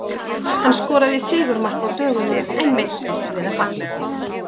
Hann skoraði sigurmark á dögunum en meiddist við að fagna því.